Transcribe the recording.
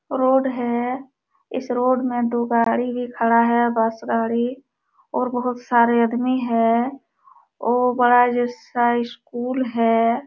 Road है| इस road में दो गाड़ी भी खड़ा है बस गाडी और बहोत सारे अदमी है और बड़ा जैसा स्कूल है।